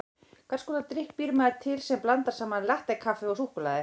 Hvers konar drykk býr maður til sem blandar saman latté-kaffi og súkkulaði?